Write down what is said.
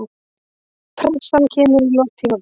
Pressan kemur í lok tímabils.